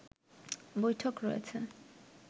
বৈঠক করেছে